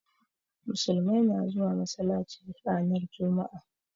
Musulmai na zuwa masalaci ranar juma'a.